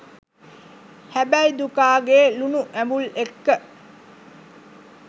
හැබැයි දුකාගේ ලුනු ඇඹුල් එක්ක